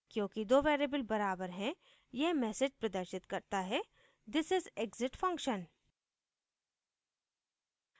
क्योंकि दो variables बराबर हैं यह message प्रदर्शित करता है this is exit function